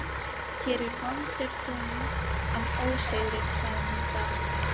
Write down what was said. Hér er vondur daunn af ósigri, sagði hún þá.